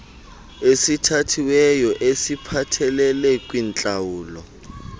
esithathiweyo esiphathelele kwintlawulo